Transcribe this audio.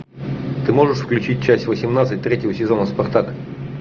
ты можешь включить часть восемнадцать третьего сезона спартак